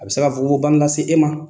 A bɛ se fugofugobana lase e ma.